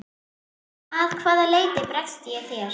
Að hvaða leyti bregst ég þér?